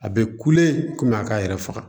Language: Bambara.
A bɛ kule kɔmi a k'a yɛrɛ faga